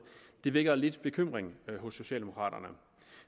det vækker lidt bekymring hos socialdemokraterne